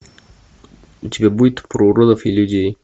у тебя будет про уродов и людей